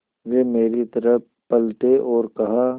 वे मेरी तरफ़ पलटे और कहा